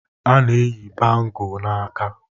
A na-eyi bangọ n'aka.